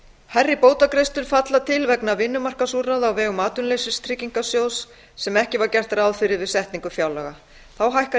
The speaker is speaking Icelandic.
hærri bótagreiðslur falla til vegna vinnumarkaðsúrræða á vegum atvinnuleysistryggingasjóðs sem ekki var gert ráð fyrir við setningu fjárlaga þá hækkar